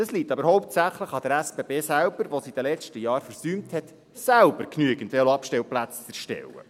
Das liegt aber hauptsächlich an der SBB selber, die es in den letzten Jahren versäumt hat, selber genügend Veloabstellplätze zu erstellen.